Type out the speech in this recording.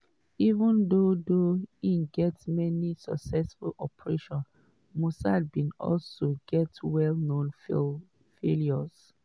even though though em get many successful operations mossad bin also get well known failures.